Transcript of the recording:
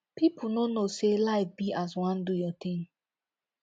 pipu no knowsay life be as wan do your thing